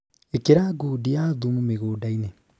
Īkĩra ngundi ya thumu mĩgũnda-inĩ